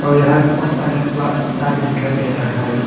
और यहां बहोत सारे बड़ा प पत्ता भी दिखाई दे रहा है।